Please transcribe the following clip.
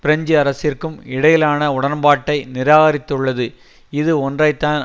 French அரசிற்கும் இடையிலான உடன்பாட்டை நிராகரித்துள்ளது இது ஒன்றைத்தான்